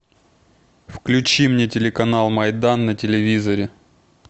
включи мне телеканал майдан на телевизоре